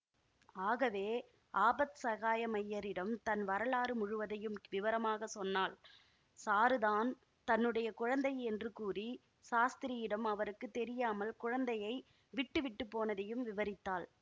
ஆகவே ஆபத்சகாயமய்யரிடம் தன் வரலாறு முழுவதையும் விவரமாக சொன்னாள் சாருதான் தன்னுடைய குழந்தை என்று கூறி சாஸ்திரியிடம் அவருக்கு தெரியாமல் குழந்தையை விட்டுவிட்டு போனதையும் விவரித்தாள்